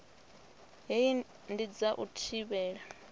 hei ndi dza u thivhela